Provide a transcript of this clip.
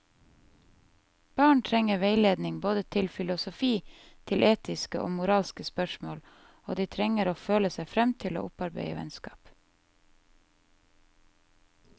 Barn trenger veiledning både til filosofi, til etiske og moralske spørsmål, og de trenger å føle seg frem til å opparbeide vennskap.